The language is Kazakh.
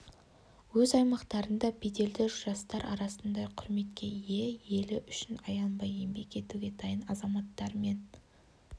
өз аймақтарында беделді жастар арасында құрметке ие елі үшін аянбай еңбек етуге дайын азаматтар мен